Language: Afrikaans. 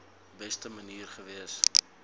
beste manier gewees